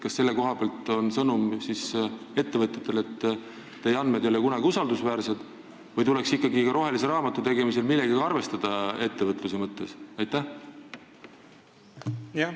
Kas selle koha pealt on sõnum ettevõtjatele see, et teie andmed ei ole kunagi usaldusväärsed, või tuleks ikkagi rohelise raamatu tegemisel millegagi ettevõtluse mõttes arvestada?